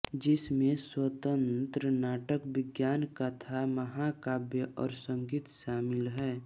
जिसमें स्वतंत्र नाटक विज्ञानकथा महाकाव्य और संगीत शामिल हैं